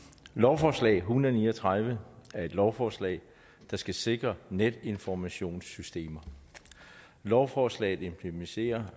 lovforslag hundrede og ni og tredive er et lovforslag der skal sikre netinformationssystemer lovforslaget implementerer